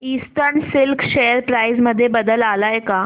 eastern silk share price मध्ये बदल आलाय का